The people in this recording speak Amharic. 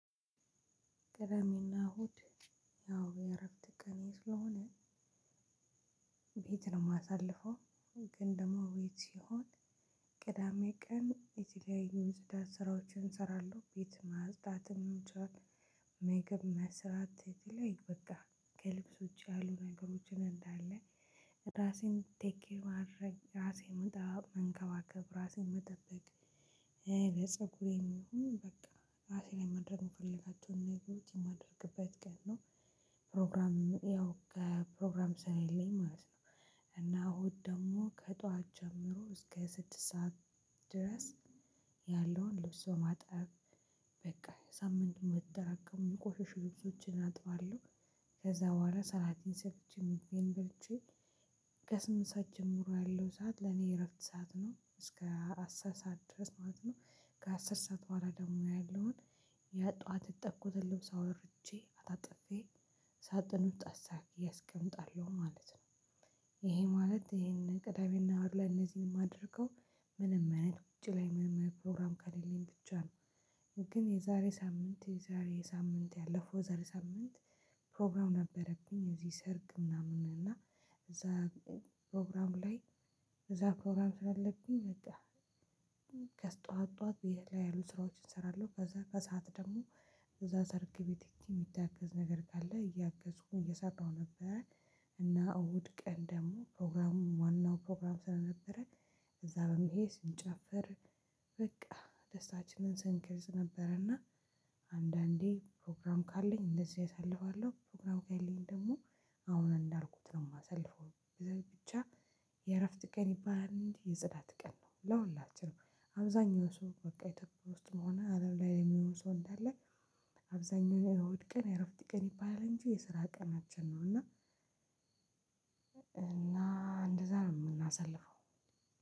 ቅዳሜና እሁድ ያው የእረፍት ቀኔ ስለሆነ ቤት ነው የማሳልፈው። ግን ደግሞ ቤት ሲሆን ቅዳሜ ቀን የተለያዩ የጽዳት ስራዎችን እሰራለሁ ቤት ማጽዳት ሊሆን ይችላል። ምግብ መስራት የተለያዩ በቃ ከልብስ ውጪ ያሉ ነገሮችን እንዳለ ራሴን ቴክ ኬር ማድረግ ራሴን በጣም መንከባከብ ራሴን መጠበቅ። ለፀጉሬም ይሁን በቃ ራሴ ላይ ማድረግ የምፈልጋቸውን ነገሮች የማደርግበት ቀን ነው። ፕሮግራም ያው ከፕሮግራም ስለሌኝ ማለት ነው። እና እሁድ ደግሞ ከጧት ጀምሮ እስከ ስድስት ሰዓት ድረስ ያለውን ልብስ በማጠብ በቃ ሳምንቱን የተጠራቀመውን ቆሻሻ ልብሶችን አጥባለሁ። ከዛ በኋላ ሰላቴን ሰጥቼ ምግቤን በልቼ ከስምንት ሰዓት ጀምሮ ያለው ሰዓት ለኔ እረፍት ሰዓት ነው እስከ አስር ሰዓት ድረስ ማለት ነው። ከአስር ሰዓት በኋላ ደግሞ ያለውን የጠዋት ያጠብኩትን ልብስ አወራርጄ አጣጥፌ ሳጥኑ ውስጥ አስተካክዬ አስቀምጣለሁ ማለት ነው። ይሄ ማለት ይሄንን ቅዳሜና እሁድ ላይ እነዚህን የማደርገው ምንም አይነት ውጭ ላይ ምንም አይነት ፕሮግራም ከሌለኝ ብቻ ነው። ግን የዛሬ ሳምንት የዛሬ ሳምንት ያለፈው የዛሬ ሳምንት ፕሮግራም ነበረብኝ እዚህ ሰርግ ምናምን እና እዛ ፕሮግራም ላይ። እዛ ፕሮግራም ስላለብኝ በቃ ገስጠዋት ጠዋት ብዬ ላይ ያሉ ስራዎችን እሰራለሁ ከዛ ከሰአት ደግሞ እዛ ሰርግ ቤት ሄጄ የሚታገዝ ነገር ካለ እያገዝኩ እየሰራሁ ነበረ። እና እሁድ ቀን ደግሞ ፕሮግራሙ ዋናው ፕሮግራም ስለነበረ እዛ በመሄድ ስንጨፍር በቃ ደስታችንን ስንክርዝ ነበረና። አንዳንዴ ፕሮግራም ካለኝ እንደዚህ አሳልፋለሁ ፕሮግራም ከሌለኝ ደግሞ አሁን እንዳልኩት ነው የማሳልፈው። ብቻ የእረፍት ቀን ይባላል እንጂ የጽዳት ቀን ነው። ለሁላችንም አብዛኛው ሰው በቃ ኢትዮጵያ ውስጥም ሆነ አለም ላይ የሚሆን ሰው እንዳለ። አብዛኛው ላይ እሁድ ቀን እረፍት ቀን ይባላል እንጂ የስራ ቀናችን ነው እና። እና እንደዛ ነው የምናሳልፈው።